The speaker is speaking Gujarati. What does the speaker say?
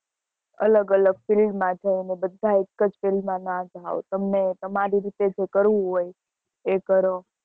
અલગ અલગ field માં જવું એ બધા એક જ field ના જવો તમને તમરી રીતે જે કરવું હોય એ કરો